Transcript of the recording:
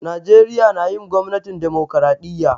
Najeriya na yin gwamnatin dimokiradiyya.